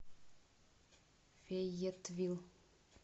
фейетвилл